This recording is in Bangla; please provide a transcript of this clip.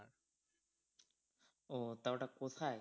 ও তা ওটা কোথায়?